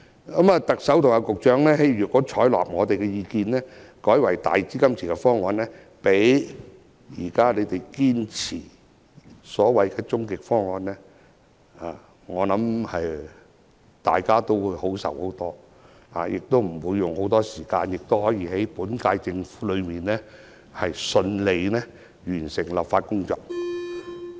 如果特首和局長採納我們的意見，改為用"大基金池"方案，比當局堅持的所謂終極方案，大家會開心很多，也不會花很多時間討論，可以在本屆政府任期內順利完成立法工作。